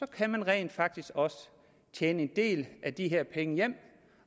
kan man rent faktisk også tjene en del af de her penge hjem